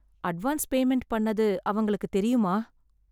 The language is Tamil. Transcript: அட்வான்ஸ் பேமெண்ட் பண்ணது அவங்களுக்கு தெரியுமா?